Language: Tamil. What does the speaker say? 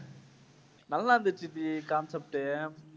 நல்லா இருந்திச்சு ஜி concept உ.